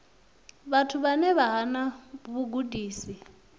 vhathu vhane vha hana vhugudisi